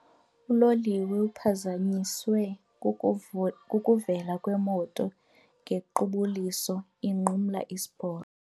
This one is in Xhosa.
Uloliwe uphazanyiswe kukuvela kwemoto ngequbuliso inqumla isiporo.